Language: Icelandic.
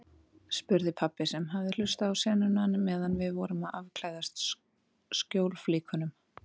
spurði pabbi sem hafði hlustað á sennuna meðan við vorum að afklæðast skjólflíkunum.